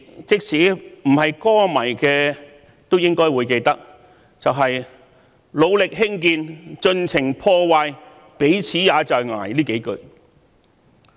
"即使不是歌迷都應該記得，還有"努力興建，盡情破壞，彼此也在捱"這幾句。